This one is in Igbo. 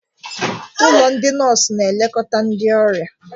Ụlọ ndị nọọsụ na-elekọta ndị ọrịa.